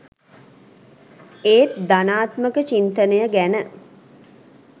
ඒත් ධනාත්මක චින්තනය ගැන